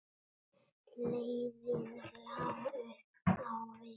Leiðin lá upp á við.